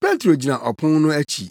“Petro gyina ɔpon no akyi.”